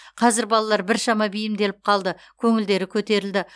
қазір балалар біршама бейімделіп қалды көңілдері көтерілді